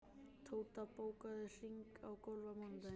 Tóta, bókaðu hring í golf á mánudaginn.